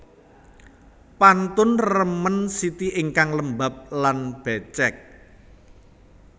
Pantun remen siti ingkang lembab lan bècèk